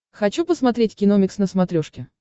хочу посмотреть киномикс на смотрешке